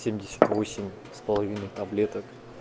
семьдесят восемь с половиной таблеток